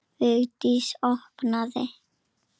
Vigdís opnaði.